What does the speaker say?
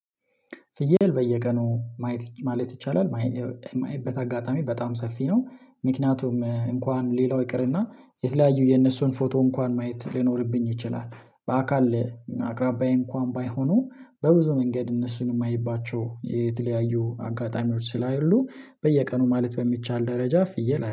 ፍየል በየቀኑ ማለት ይቻላል። ማይበት አጋጣሚ በጣም ሰፊ ነው ምክንያቱም እንኳን ሌላው ይቅርና የተለያዩ የነሱን ፎቶ እንኳን ማየት ሊኖርብኝ ይችላል። በአካል አቅራቢያዬን እንኳን ባይሆኑ በብዙ መንገድ እነሱን የማይባቸው የተለያዩ አጋጣሚዎች ስላሉ። በየቀኑ ማለት በሚቻል ደረጃ ፍየል